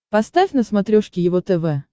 поставь на смотрешке его тв